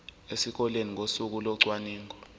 esikoleni ngosuku locwaningo